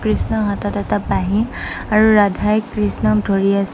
কৃষ্ণৰ হাতত এটা বাঁহী আৰু ৰাধাই কৃষ্ণক ধৰি আছে।